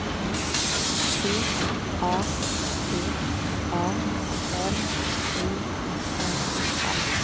C A T A R I N A